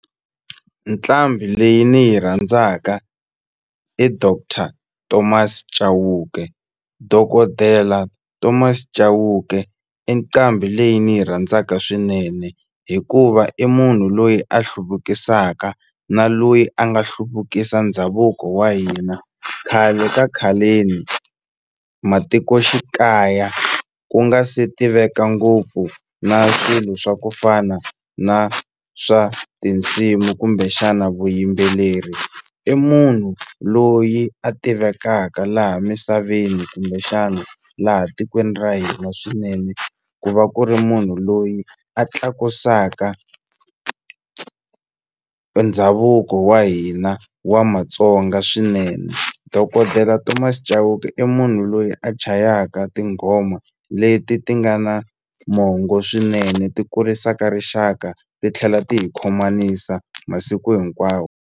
Nqambi leyi ni yi rhandzaka i Doctor Thomas Chauke dokodela Thomas Chauke i nqambi leyi ni yi rhandzaka swinene hikuva i munhu loyi a hluvukisaka na loyi a nga hluvukisa ndhavuko wa hina khale ka khaleni matikoxikaya ku nga se tiveka ngopfu na swilo swa ku fana na swa tinsimu kumbexana vuyimbeleri i munhu loyi a tivekaka laha misaveni kumbexana laha tikweni ra hina swinene ku va ku ri munhu loyi a tlakusaka ndhavuko wa hina wa Matsonga swinene dokodela Thomas Chauke i munhu loyi a chayaka tinghoma leti ti nga na mongo swinene ti kurisaka rixaka titlhela ti hi khomanisa masiku hinkwawo.